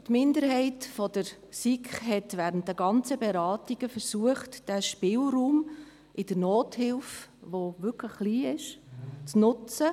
Die Minderheit der SiK hat während der ganzen Beratungen versucht, den wirklich kleinen Spielraum in der Nothilfe zu nutzen.